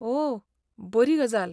ओह, बरी गजाल!